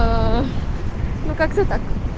аа ну как-то так